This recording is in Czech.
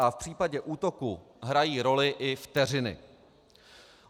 A v případě útoku hrají roli i vteřiny.